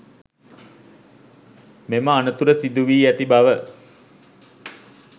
මෙම අනතුර සිදු වී ඇති බව